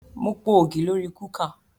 Mo po ògì lórí kúkà